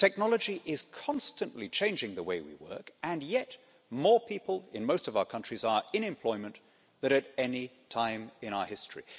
Technology is constantly changing the way we work, and yet more people in most of our countries are in employment than at any time in our history.